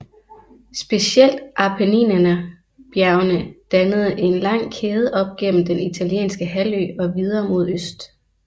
Specielt Appenninernebjergene dannede en lang kæde op gennem den italienske halvø og videre mod øst